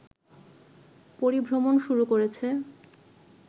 পরিভ্রমণ শুরু করেছে